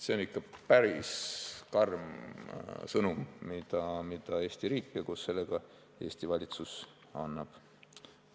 See on ikka päris karm sõnum, mida Eesti riik ja koos sellega Eesti valitsus annavad.